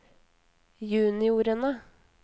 juniorene